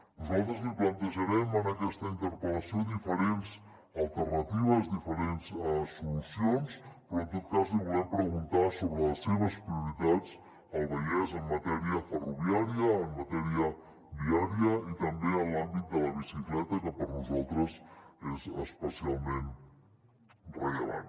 nosaltres li plantejarem en aquesta interpel·lació diferents alternatives diferents solucions però en tot cas li volem preguntar sobre les seves prioritats al vallès en matèria ferroviària en matèria viària i també en l’àmbit de la bicicleta que per nosaltres és especialment rellevant